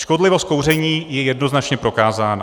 Škodlivost kouření je jednoznačně prokázána.